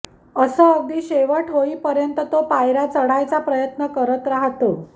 अस अगदी शेवट होई पर्येन्त तो पायर्या चढायचा प्रयत्न करत राहतो